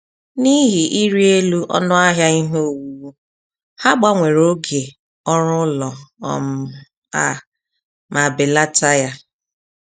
N’ihi ịrị elu ọnụ ahịa ihe owuwu, ha gbanwere oge oru ụlọ um a ma belata ya